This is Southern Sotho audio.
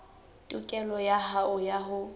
tokelo ya hao ya ho